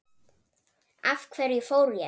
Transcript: Af hverju fór ég?